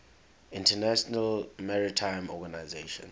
international maritime organization